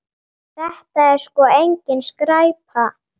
Þetta er sko engin skræpa.